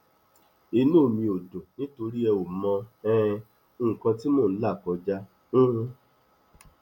inú mi ò dùn nítorí ẹ ò mọ um nǹkan tí mò ń là kọjá um